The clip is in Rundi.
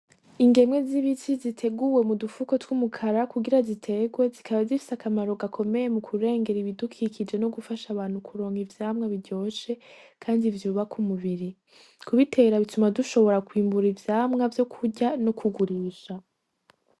Ingemwe z'ibiti ziteguwe mu dufuko tw'umukara kugira ziterwe zikaba zifise akamaro gakomeye mu kurengera ibidukikije no gufasha abantu kuronka ivyamwa biryoshe kandi vyubaka umubiri kubitera bituma dushobora kwimbura ivyamwa vyo kurya no kugurisha.